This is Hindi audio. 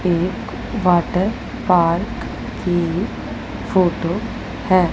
एक वाटर पार्क की फोटो है।